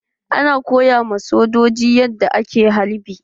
Ana koya ma sojoji yadda ake halbi.